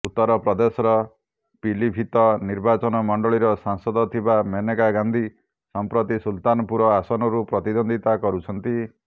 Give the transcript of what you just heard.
ଉତ୍ତର ପ୍ରଦେଶର ପିଲିଭିତ ନିର୍ବାଚନ ମଣ୍ଡଳୀର ସାଂସଦ ଥିବା ମେନକା ଗାନ୍ଧୀ ସମ୍ପ୍ରତି ସୁଲତାନପୁର ଆସନରୁ ପ୍ରତିଦ୍ୱନ୍ଦ୍ୱିତା କରୁଛନ୍ତି